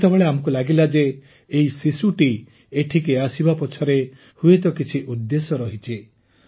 ସେତେବେଳେ ଆମକୁ ଲାଗିଲା ଯେ ଏହି ଶିଶୁଟି ଏଠିକି ଆସିବା ପଛରେ ହୁଏତ କିଛି ଉଦ୍ଦେଶ୍ୟ ରହିଛି